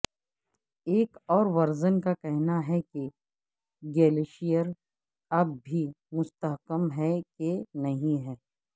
ایک اور ورژن کا کہنا ہے کہ گلیشیر اب بھی مستحکم ہیں کہ نہیں ہے